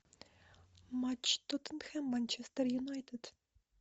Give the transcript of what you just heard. матч тоттенхэм манчестер юнайтед